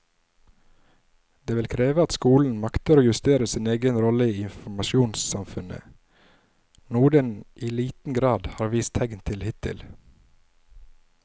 Det vil kreve at skolen makter å justere sin egen rolle i informasjonssamfunnet, noe den i liten grad har vist tegn til hittil.